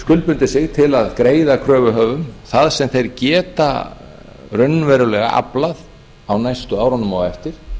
skuldbundið sig til að greiða kröfuhöfum það sem þeir geta raunverulega aflað á næstu árunum á eftir